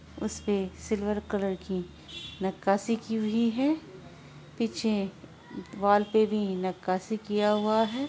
उसपे silver colour की नक्काशी की हुई है पीछे वॉल पे भी नक्काशी किया हुआ है।